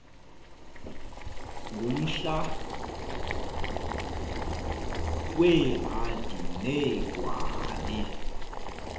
ngumhla weehadi neegwali